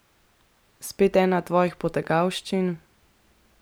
Spet ena tvojih potegavščin?